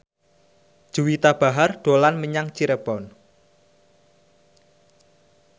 Juwita Bahar dolan menyang Cirebon